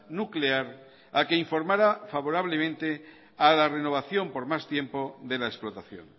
nuclear a que informara favorablemente a la renovación por más tiempo de la explotación